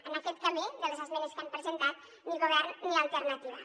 en aquest camí de les esmenes que han presentat ni govern ni alternativa